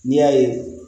N'i y'a ye